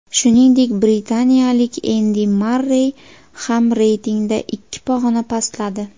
Shuningdek, britaniyalik Endi Marrey ham reytingda ikki pog‘ona pastladi.